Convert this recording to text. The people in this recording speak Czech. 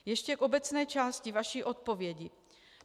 Ještě k obecné části vaší odpovědi.